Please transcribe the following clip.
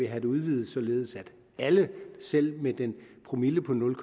have det udvidet således at alle selv dem med en promille på nul